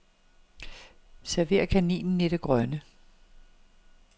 Server kaninen i det grønne.